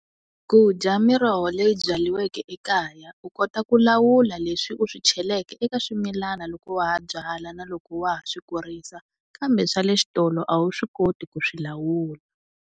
Ku dya miroho leyi byariweke ekaya u kota ku lawula leswi u swi cheleka eka swimilana loko wa ha byala na loko wa ha swi kurisa kambe swa le xitolo a wu swi koti ku swilawula.